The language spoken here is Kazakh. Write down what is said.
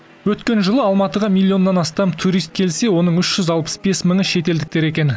өткен жылы алматыға миллионнан астам турист келсе оның үш жүз алпыс бес мыңы шетелдіктер екен